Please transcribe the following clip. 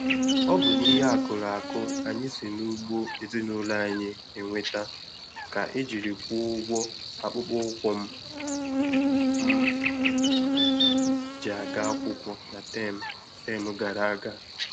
Ọ bụ n'ihe akụrụ akụ anyị si n'ugbo ezinụlọ anyị enweta ka e jiri kwụọ ụgwọ akpụkpọ ụkwụ m ji aga akwụkwọ na tem tem gara aga.